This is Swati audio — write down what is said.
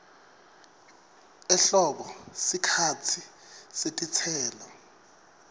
ehlobo sikhatsi setitselo